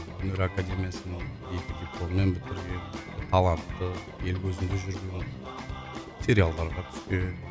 өнер академиясын екі дипломмен бітірген талантты ел көзінде жүрген сериалдарға түскен